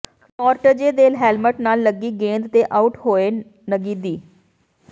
Nortje ਦੇ helmet ਨਾਲ ਲੱਗੀ ਗੇਂਦ ਤੇ ਆਊਟ ਹੋਏ ਨਗੀਦੀ